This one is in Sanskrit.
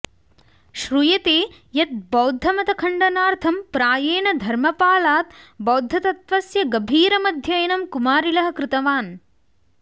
श्रूयते यत् बौद्धमतखण्डनार्थं प्रायेण धर्मपालात् बौद्धतत्त्वस्य गभीरमध्ययनं कुमारिलः कृतवान्